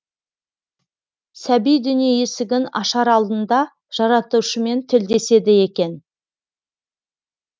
сәби дүние есігін ашар алдында жаратушымен тілдеседі екен